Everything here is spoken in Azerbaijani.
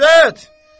İzzət!